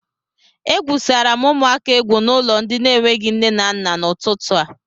E gwùsara m ụmụaka egwú n'ụlọ ndi n'enweghị nne na nna n'ututu a